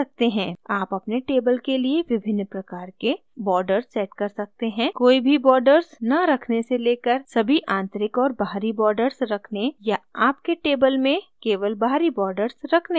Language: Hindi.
आप अपने table के लिए विभिन्न प्रकार के borders borders set कर सकते हैं कोई भी borders न रखने से लेकर सभी आंतरिक और बाहरी borders रखने या आपके table में केवल बाहरी borders रखने के लिए